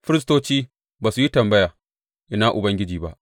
Firistoci ba su yi tambaya, Ina Ubangiji ba.’